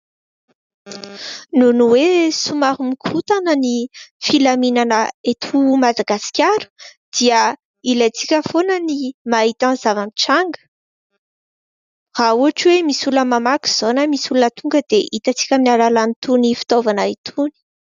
Noho ny hoe somary mikorontana ny filaminana eto Madagaskara, dia ilaintsika foana ny mahita ny zava-mitranga raha ohatra hoe misy olona mamaky izao na misy olona tonga dia hitantsika amin'ny alalan'itony fitaovana itony.